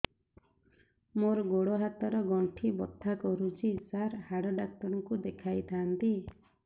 ମୋର ଗୋଡ ହାତ ର ଗଣ୍ଠି ବଥା କରୁଛି ସାର ହାଡ଼ ଡାକ୍ତର ଙ୍କୁ ଦେଖାଇ ଥାନ୍ତି